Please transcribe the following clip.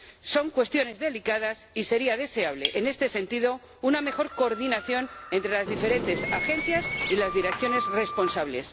Son cuestiones delicadas y sería deseable, en este sentido, una mejor coordinación entre las diferentes agencias y las direcciones responsables.